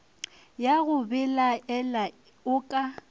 ya go belaela o ka